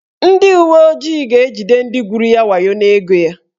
Ndị uweojii ahụ ga-ejide ndị gwuru ya wayo n'ego ya.